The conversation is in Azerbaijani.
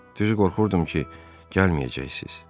Düz qorxurdum ki, gəlməyəcəksiniz.